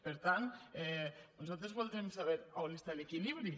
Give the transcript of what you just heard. per tant nosaltres voldrem saber on està l’equilibri